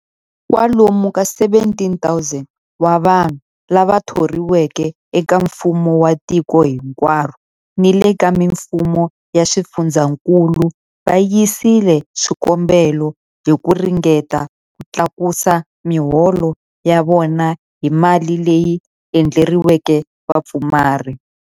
Kwalomu ka 17,000 wa vanhu lava thoriweke eka mfumo wa tiko hinkwaro ni le ka mifumo ya swifundzankulu va yisile swikombelo hi ku ringeta ku tlakusa miholo ya vona hi mali leyi endleriweke vapfumari.